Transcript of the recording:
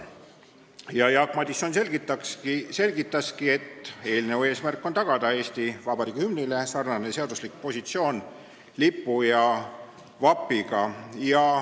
Jaak Madison selgitaski, et eelnõu eesmärk on tagada Eesti Vabariigi hümnile sarnane seaduslik positsioon, nagu on lipul ja vapil.